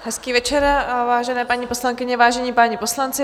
Hezký večer, vážené paní poslankyně, vážení páni poslanci.